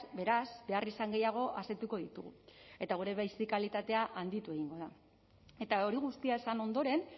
beraz beharrizan gehiago asetuko ditugu eta gure bizi kalitatea handitu egingo da eta hori guztia esan ondoren